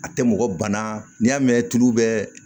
A tɛ mɔgɔ bana n'i y'a mɛn tulu bɛɛ